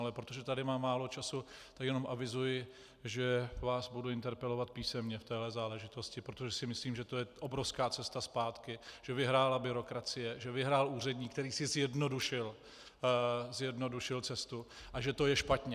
Ale protože tady mám málo času, tak jenom avizuji, že vás budu interpelovat písemně v této záležitosti, protože si myslím, že to je obrovská cesta zpátky, že vyhrála byrokracie, že vyhrál úředník, který si zjednodušil cestu, a že to je špatně.